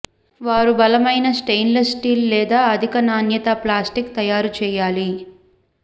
వారు బలమైన stainless steel లేదా అధిక నాణ్యత ప్లాస్టిక్ తయారు చేయాలి